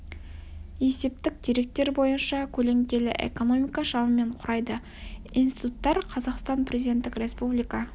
есептік деректер бойынша көлеңкелі экономика шамамен құрайды институттар қазақстан президенттік республика